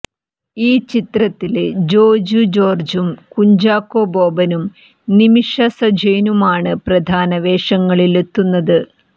ഈ ചിത്രത്തില് ജോജു ജോര്ജും കുഞ്ചാക്കോ ബോബനും നിമിഷ സജയനുമാണ് പ്രധാന വേഷങ്ങളിലെത്തുന്നത്